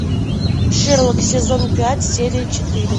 шерлок сезон пять серия четыре